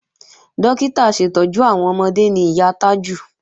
Dókítà aṣètọ́jú àwọn ọmọde ni ìyá Tájù